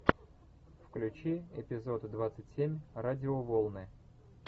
включи эпизод двадцать семь радиоволны